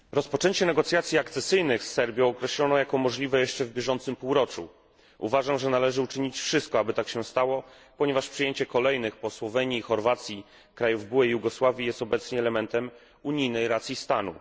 Panie Przewodniczący! Rozpoczęcie negocjacji akcesyjnych z Serbią określono jako możliwe jeszcze w bieżącym półroczu. Uważam, że należy uczynić wszystko, aby tak się stało, ponieważ przyjęcie kolejnych po Słowenii i Chorwacji krajów byłej Jugosławii jest obecnie elementem unijnej racji stanu.